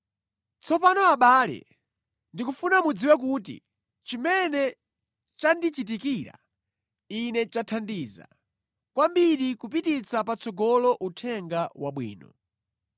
Tsopano abale, ndikufuna mudziwe kuti chimene chandichitikira ine chathandiza kwambiri kupititsa patsogolo Uthenga Wabwino.